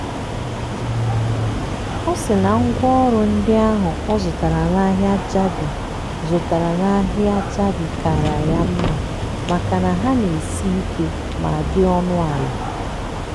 ọ sị na ngwaọrụ ndị ahụ ọ zụtara n'ahịa jabi zụtara n'ahịa jabi kaara ya mma makana ha na-esi ike ma dị ọnụ ala.